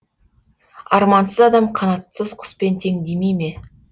армансыз адам қанатсыз құспен тең демей ме